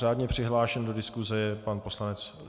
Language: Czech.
Řádně přihlášen do diskuse je pan poslanec.